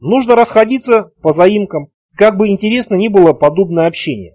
нужно расходиться по заимкам как бы интересно не было подобное общение